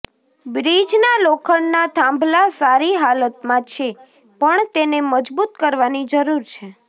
બ્રિજના લોખંડના થાંભલા સારી હાલતમાં છે પણ તેને મજબૂત કરવાની જરૂર છે